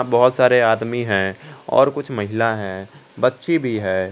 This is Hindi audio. बहुत सारे आदमी है और कुछ महिला है बच्ची भी है।